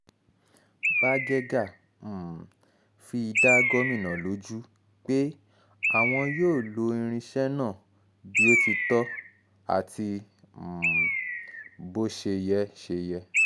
bágẹ́gà um fi dá gómìnà lójú pé àwọn yóò lo irinṣẹ́ náà bó ti tọ́ àti um bó ṣe yẹ ṣe yẹ